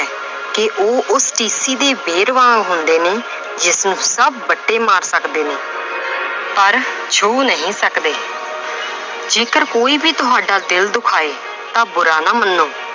ਕਿ ਉਹ ਉਸ ਟੀਸੀ ਦੇ ਬੇਰ ਵਾਂਗ ਹੁੰਦੇ ਨੇ ਜਿਸਨੂੰ ਸਭ ਵੱਟੇ ਮਾਰ ਸਕਦੇ ਨੇ ਪਰ ਛੂਹ ਨਹੀਂ ਸਕਦੇ ਜੇਕਰ ਕੋਈ ਵੀ ਤੁਹਾਡਾ ਦਿਲ ਦੁਖਾਏ ਤਾਂ ਬੁਰਾ ਨਾ ਮੰਨੋ